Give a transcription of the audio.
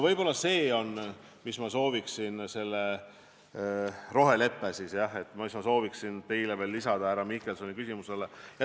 Võib-olla see rohelepe ongi see, jah, mida ma sooviksin veel lisada vastuseks härra Mihkelsoni küsimusele.